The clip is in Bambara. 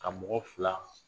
Ka mɔgɔ fila